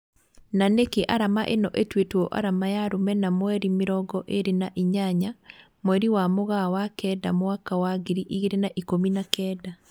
Na nĩkĩ arama ĩno ĩtuĩtwo arama ya rũmena mweri mĩrongo irĩ na inyanya mweri wa Mũgaa Wa Kenda mwaka wa ngiri igĩrĩ na ikũmi na kenda.